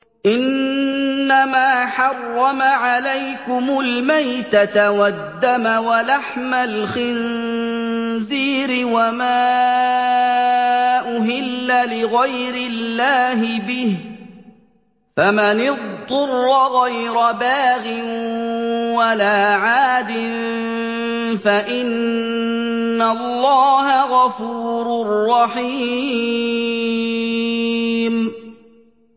إِنَّمَا حَرَّمَ عَلَيْكُمُ الْمَيْتَةَ وَالدَّمَ وَلَحْمَ الْخِنزِيرِ وَمَا أُهِلَّ لِغَيْرِ اللَّهِ بِهِ ۖ فَمَنِ اضْطُرَّ غَيْرَ بَاغٍ وَلَا عَادٍ فَإِنَّ اللَّهَ غَفُورٌ رَّحِيمٌ